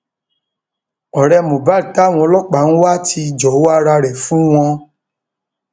ọrẹ mohbad táwọn ọlọpàá ń wá ti jọwọ ara rẹ fún wọn o